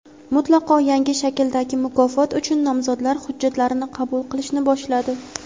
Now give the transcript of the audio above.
mutlaqo yangi shakldagi mukofot uchun nomzodlar hujjatlarini qabul qilishni boshladi!.